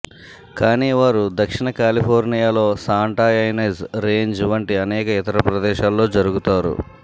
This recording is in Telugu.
కానీ వారు దక్షిణ కాలిఫోర్నియాలో శాంటా యైనజ్ రేంజ్ వంటి అనేక ఇతర ప్రదేశాల్లో జరుగుతారు